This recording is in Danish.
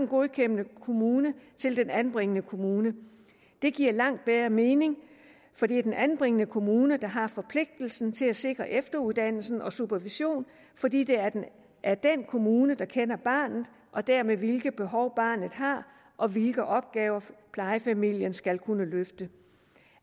godkendende kommune til den anbringende kommune det giver langt bedre mening for det er den anbringende kommune der har forpligtelsen til at sikre efteruddannelsen og supervision fordi det er den kommune der kender barnet og dermed ved hvilke behov barnet har og hvilke opgaver plejefamilien skal kunne løfte